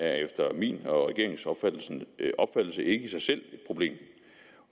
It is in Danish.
er efter min og regeringens opfattelse ikke i sig selv et problem